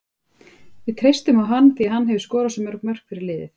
Við treystum á hann því að hann hefur skorað svo mörg mörk fyrir liðið.